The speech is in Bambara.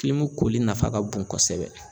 koli nafa ka bon kɔsɛbɛ.